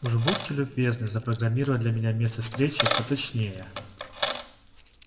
уж будьте любезны запрограммировать для меня место встречи поточнее